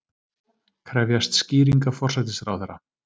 Krefjast skýringa forsætisráðherra